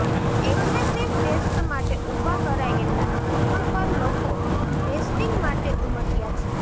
aggressive test માટે ઉભા કરાયેલા બૂથ પર લોકો ટેસ્ટીંગ માટે ઉમટ્યા છે